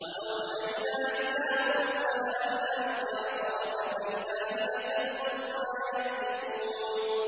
۞ وَأَوْحَيْنَا إِلَىٰ مُوسَىٰ أَنْ أَلْقِ عَصَاكَ ۖ فَإِذَا هِيَ تَلْقَفُ مَا يَأْفِكُونَ